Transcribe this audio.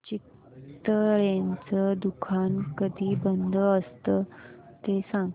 चितळेंचं दुकान कधी बंद असतं ते सांग